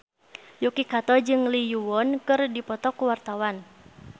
Yuki Kato jeung Lee Yo Won keur dipoto ku wartawan